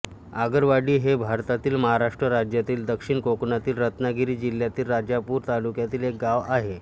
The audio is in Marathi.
आगरवाडी हे भारतातील महाराष्ट्र राज्यातील दक्षिण कोकणातील रत्नागिरी जिल्ह्यातील राजापूर तालुक्यातील एक गाव आहे